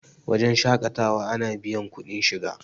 wajen shaƙatawa ana biyar kuɗin shiga